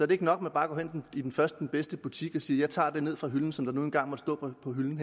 det ikke nok man bare gå hen i den første den bedste butik og siger jeg tager det ned fra hylden som der nu engang måtte stå på hylden